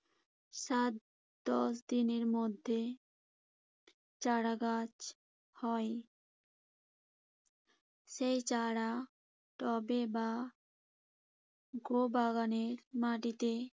সাত, দশ দিনের মধ্যে চারাগাছ হয়। সেই চারা টবে বা গো-বাগানের মাটিতে